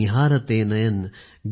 पथ निहारते नयन